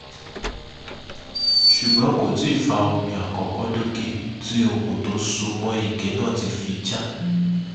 ṣùgbọ́n kò tí ì fa omi àkọ́kọ́ dókè tí okùn tó so mọ́ ike náà fi já